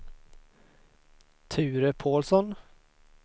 Ture Paulsson